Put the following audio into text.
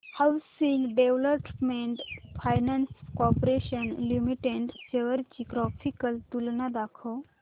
housing development finance corporation limited shares ची graphical तुलना दाखव